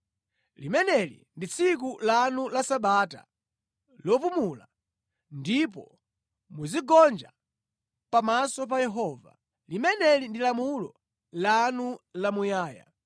Limeneli ndi tsiku lanu la Sabata lopumula, ndipo muzigonja pamaso pa Yehova. Limeneli ndi lamulo lanu la muyaya.